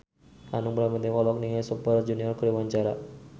Hanung Bramantyo olohok ningali Super Junior keur diwawancara